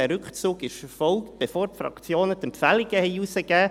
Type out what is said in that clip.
Dieser Rückzug erfolgte, bevor die Fraktionen die Empfehlungen herausgaben.